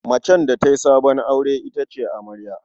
Macen da ta yi sabon aure ita ce amarya.